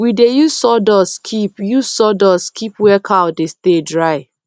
we dey use sawdust keep use sawdust keep where cow dey stay dry